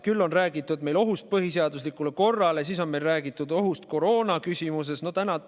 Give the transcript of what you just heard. Küll on räägitud ohust põhiseaduslikule korrale, siis on meil räägitud ohust koroonaajal.